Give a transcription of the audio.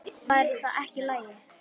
Væri það ekki í lagi?